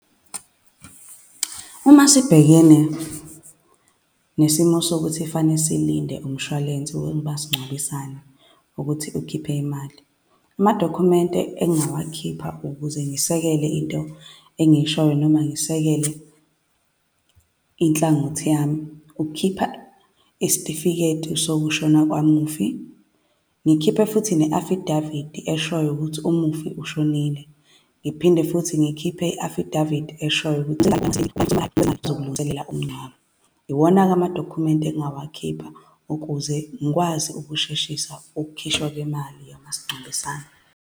Uma sibhekene nesimo sokuthi fane silinde umshwalense wemasingcwabisane ukuthi ukhiphe imali, amadokhumente engingawakhipha ukuze ngisekele into engiyishoyo noma ngisekele inhlangothi yami ukukhipha isitifiketi sokushona kwamufi, ngikhiphe futhi ne-affidavit eshoyo ukuthi umufi ushonile, ngiphinde futhi ngikhiphe i-affidavit eshoyo zokulungiselela umngcwabo. Iwona-ke amadokhumenti engingawazi khipha ukuze ngikwazi ukusheshisa ukukhishwa kwemali yamasingcwabisane.